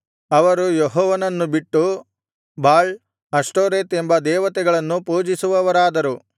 ಅವರು ಯೆಹೋವನನ್ನು ಬಿಟ್ಟು ಬಾಳ್ ಅಷ್ಟೋರೆತ್ ಎಂಬ ದೇವತೆಗಳನ್ನು ಪೂಜಿಸುವವರಾದರು